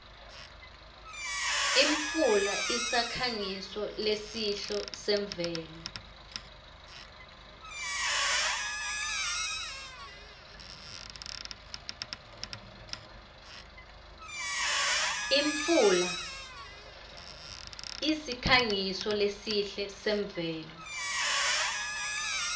imfula usikhangiso lesihle semvelo